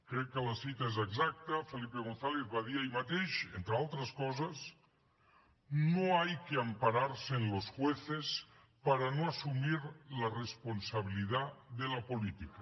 crec que la cita és exacta felipe gonzález va dir ahir mateix entre altres coses no hay que ampararse en los jueces para no asumir la responsabilidad de la política